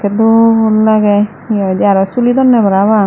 dol lagey hi hoidey arow suli donney parapang.